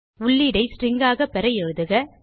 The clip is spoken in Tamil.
உள்ளீடை ஸ்ட்ரிங் ஆக பெற எழுதுக